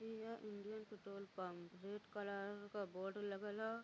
ई है Indian petrol pump red colour का board लगल ह।